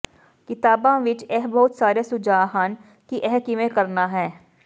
ਕਿਤਾਬਾਂ ਵਿੱਚ ਇਹ ਬਹੁਤ ਸਾਰੇ ਸੁਝਾਅ ਹਨ ਕਿ ਇਹ ਕਿਵੇਂ ਕਰਨਾ ਹੈ